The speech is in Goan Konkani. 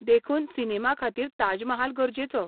देखून, सिनेमा खातीर ताजमहाल गरजेचो.